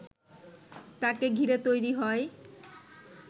তাকে ঘিরে তৈরি হয়